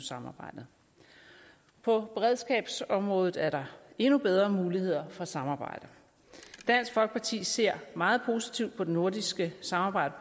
samarbejdet på beredskabsområdet er der endnu bedre muligheder for samarbejde dansk folkeparti ser meget positivt på det nordiske samarbejde